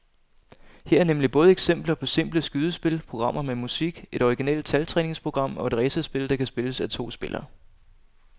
Her er nemlig både eksempler på simple skydespil, programmer med musik, et originalt taltræningsprogram og et racerspil, der kan spilles af to spillere.